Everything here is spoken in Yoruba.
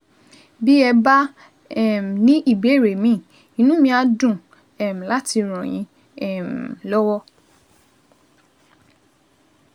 Bí ẹ bá um ní ìbéèrè míì, inú mi á dùn um láti ràn yín um lọ́wọ́